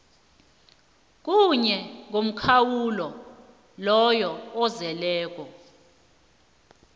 kuye ngomkhawulo ozeleko